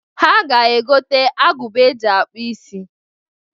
Ha ga-egota agụba e ji akpụ isi.